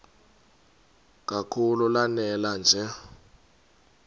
kakhulu lanela nje